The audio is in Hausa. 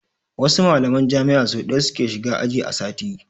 Wasu mallaman jami'a so ɗaya su ke shiga aji a sati.